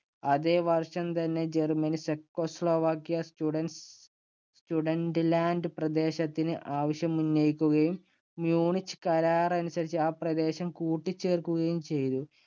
അതേ വർഷം തന്നെ ജർമ്മനി ചെക്കോസ്ലോവാക്യയിലെ സ്റ്റുഡറ്റൻസ് സ്റ്റുഡറ്റൻറ് ലാൻറ് പ്രദേശത്തിന് ആവശ്യമുന്നയിക്കുകയും my unique കരാര്‍ അനുസരിച്ച് ആ പ്രദേശം കൂട്ടിച്ചേർക്കുകയും ചെയ്തു.